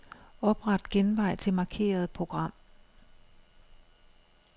Opret genvej til markerede program.